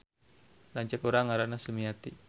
Lanceuk urang ngaranna Sumiati